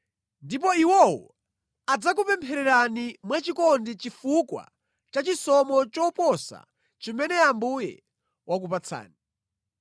Ndipo iwowo adzakupemphererani mwachikondi chifukwa cha chisomo choposa chimene Ambuye wakupatsani.